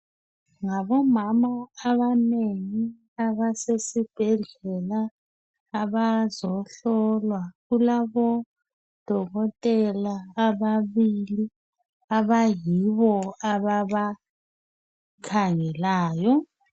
Ngabomama abanengi abasesibhedlela abazohlolwa kulabodokotela ababili abayibo ababa khangelayo.